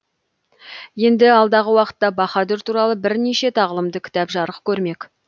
енді алдағы уақытта баһадүр туралы бірнеше тағылымды кітап жарық көрмек